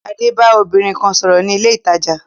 Adé ba obìnrin kan sòrò ni ilé ìtajà